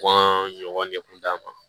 Kɔn ɲɔgɔn de kun d'a ma